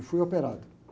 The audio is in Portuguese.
E fui operado.